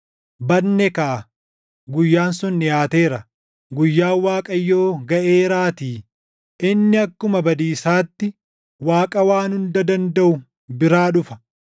Badne kaa! Guyyaan sun dhiʼaateera. Guyyaan Waaqayyoo gaʼeeraatii; inni akkuma badiisaatti // Waaqa Waan Hunda Dandaʼu biraa dhufa.